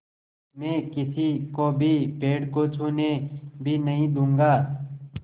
मैं किसी को भी पेड़ को छूने भी नहीं दूँगा